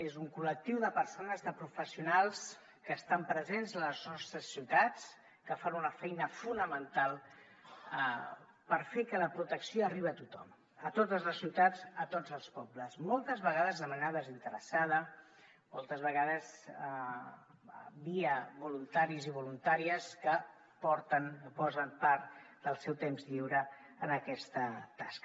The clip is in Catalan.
és un col·lectiu de persones de professionals que estan presents a les nostres ciutats que fan una feina fonamental per fer que la protecció arribi a tothom a totes les ciutats a tots els pobles moltes vegades de manera desinteressada moltes vegades via voluntaris i voluntàries que porten o posen part del seu temps lliure en aquesta tasca